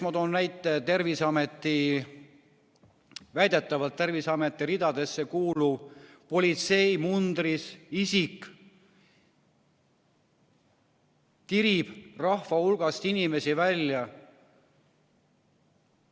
Ma toon näite: väidetavalt Terviseameti ridadesse kuuluv politseimundris isik tirib rahva hulgast inimesi välja.